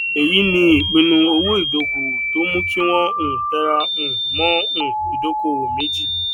èyí ni ìpinnu owóìdókòwò tó mú kí wọn um tera um mó um ìdókòwò mẹji